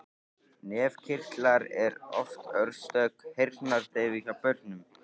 Nefkirtlar eru oft orsök heyrnardeyfu hjá börnum.